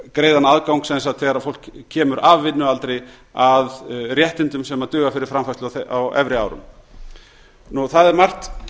greiðan aðgang sem sagt þegar fólk kemur af vinnualdri að réttindum sem duga fyrir framfærslu á efri árum það er margt